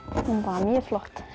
hún er mjög flott